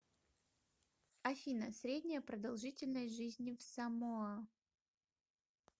афина средняя продолжительность жизни в самоа